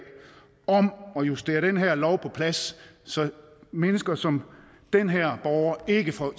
om at justere den her lov på plads så mennesker som den her borger ikke får